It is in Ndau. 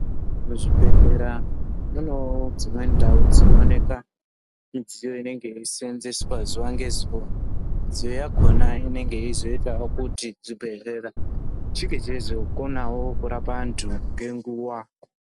Muzvibhedhlera munewo ndau dzimweni dzinooneka midziyo inenge yeiseenzeswa zuwa ngezuwa . Midziyo yakhona inenga yeizoitawo kuti , zvibhedhlera zvinge zveizokonawo kurapa antu, ngenguwa.